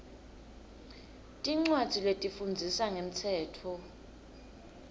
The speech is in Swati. tincwadzi letifundzisa ngemtsetfo